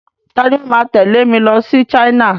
Ta ni ó máa tẹ̀lé mi lọ sí China?